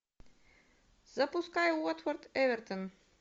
запускай уотфорд эвертон